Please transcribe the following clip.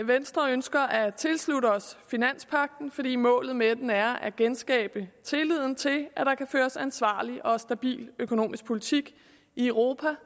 venstre ønsker at tilslutte os finanspagten fordi målet med den er at genskabe tilliden til at der kan føres en ansvarlig og stabil økonomisk politik i europa